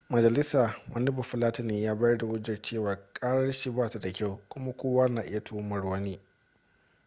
majalisa wani bafulatani ya bayar da hujjar cewa karar shi ba ta da kyau kuma kowa na iya tuhumar wani